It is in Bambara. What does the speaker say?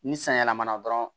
Ni san yɛlɛmana dɔrɔn